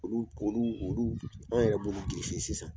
Olu olu an yɛrɛ b'olu sisan